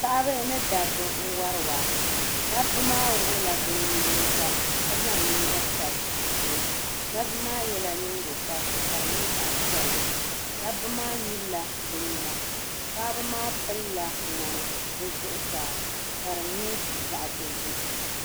Paɣabi ni dabba n wari waa dabba maa wuɣula bɛ nuyinga ka ƶanŋ yinga tab bɛ shɛɛ dabba maa yala nyingokparisi ka di nyɛ ƶag pɛlli dabba maa nyilla bɛ nyina paɣaba maa pɛlla mŋani bɛ ƶuɣu saa ka di nyɛ ƶag doʒim.